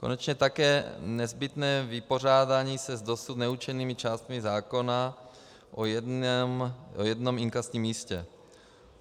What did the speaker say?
Konečně také nezbytné vypořádání se s dosud neurčenými částmi zákona o jednom inkasním místě.